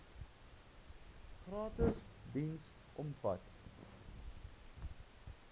gratis diens omvat